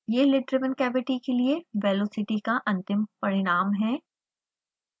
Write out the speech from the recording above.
यह lid driven cavity के लिए velocity का अंतिम परिणाम है